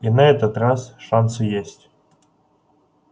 и на этот раз шансы есть